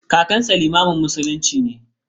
Kakansa limamin musulmi ne.